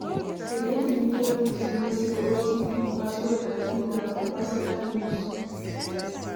Di individual need to know sey OTP, Password and PIN na for personal use